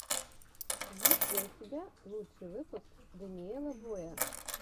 есть ли у тебя лучший выпуск дэниела боя